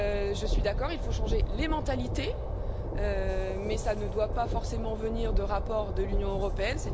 Je suis d'accord, il faut changer les mentalités, mais cela ne doit pas forcément venir de rapports de l'Union européenne.